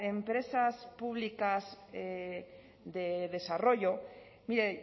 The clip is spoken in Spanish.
empresas públicas de desarrollo mire